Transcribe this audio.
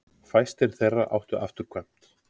Fæstir þeirra áttu afturkvæmt.